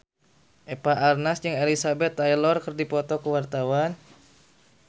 Eva Arnaz jeung Elizabeth Taylor keur dipoto ku wartawan